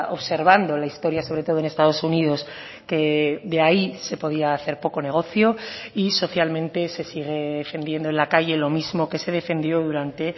observando la historia sobre todo en estados unidos que de ahí se podía hacer poco negocio y socialmente se sigue defendiendo en la calle lo mismo que se defendió durante